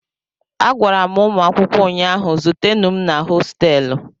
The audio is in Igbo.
Agwara m ụmụ akwụkwọ ụnyahụ, zutenụ m na hostelụ